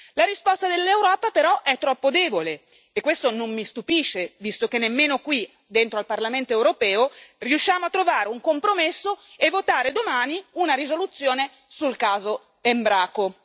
La risposta dell'Europa è però troppo debole, e questo non mi stupisce, visto che nemmeno qui, dentro al Parlamento europeo, riusciamo a trovare un compromesso e votare domani una risoluzione sul caso Embraco.